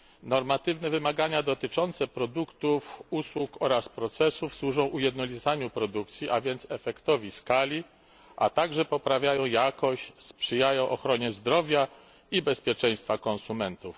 Normatywne wymagania dotyczące produktów, usług oraz procesów służą ujednolicaniu produkcji, a więc efektowi skali, a także poprawiają jakość, sprzyjają ochronie zdrowia i bezpieczeństwa konsumentów.